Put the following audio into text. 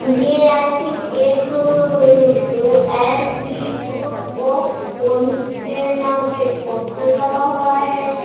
ये I think एक uh S D. Group of college के नाम का एक पोस्टर लगा हुआ है।